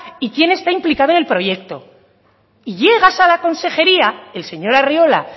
y quién está implicado en el proyecto y llegas a la consejería el señor arriola